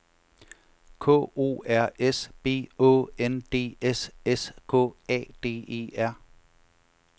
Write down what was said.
K O R S B Å N D S S K A D E R